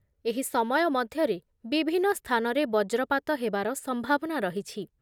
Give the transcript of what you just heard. ଏହି ସମୟ ମଧ୍ୟରେ ବିଭିନ୍ନ ସ୍ଥାନରେ ବଜ୍ରପାତ ହେବାର ସମ୍ଭାବନା ରହିଛି ।